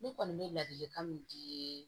Ne kɔni bɛ ladilikan min di